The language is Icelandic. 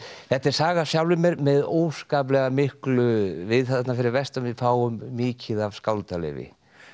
þetta er saga af sjálfum mér með óskaplega miklu við þarna fyrir vestan við fáum mikið af skáldaleyfi